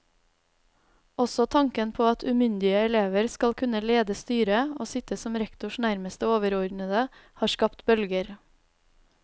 Også tanken på at umyndige elever skal kunne lede styret, og sitte som rektors nærmeste overordnede, har skapt bølger.